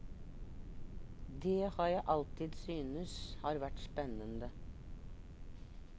Dét har jeg alltid synes har vært spennende.